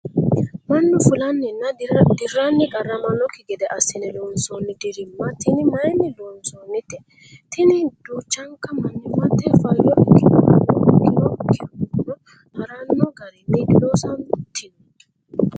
mannu fulanninna dirranni qarramanokki gede assine loonsoonni dirimma tini mayiinni loonsoonnite? tini duuchanka mannimmate fayyo ikinohano ikinokkihuno haranno garinni diloosantino?